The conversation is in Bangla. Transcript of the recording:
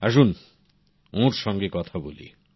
আসুন ওঁর সাথে কথা বলি